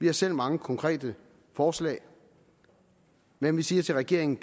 har selv mange konkrete forslag men vi siger til regeringen